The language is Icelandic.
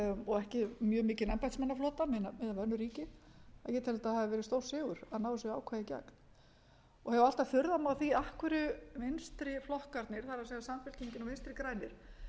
og ekki mjög mikinn embættismannaflota miðað við önnur ríki ég tel að þetta hafi verið stórsigur að ná þessu ákvæði í gegn og hef alltaf furðað mig á því af hverju vinstri flokkarnir það er samfylkingin og vinstri grænir